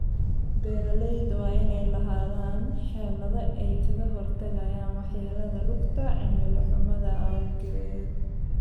Beeralayda waa inay lahaadaan xeelado ay kaga hortagayaan waxyeelada rugta cimilo xumada awgeed.